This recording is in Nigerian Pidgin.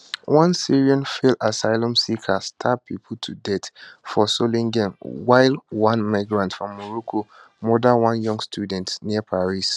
one syrian failed asylum seeker stab pipo to death for solingen while one migrant from morocco murder one young student near paris